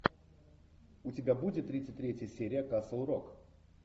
у тебя будет тридцать третья серия касл рок